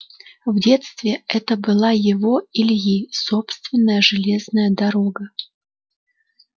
в детстве это была его ильи собственная железная дорога